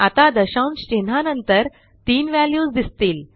आता दशांशचिन्हानंतर तीन व्हॅल्यूज दिसतील